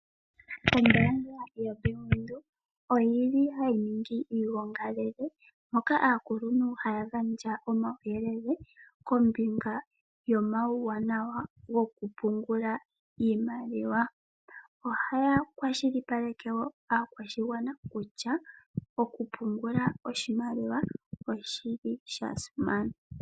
Ombaanga yaBank Windhoek ohayi ningi iigongi, moka aakuluntu haya gandja omauyelele kombinga yomauwanawa gokupungula iimaliwa. Ohaya kwashilipaleke wo aakwashigwana kutya okupungula oshimaliwa osha simana.